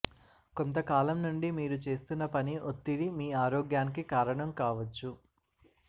కొంతకాలం నుండి మీరు చేస్తున్న పని ఒత్తిడి మీ ఆరోగ్యానికి కారణం కావచ్చు